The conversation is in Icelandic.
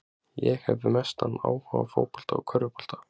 Ég hef mestan áhuga á fótbolta og körfubolta.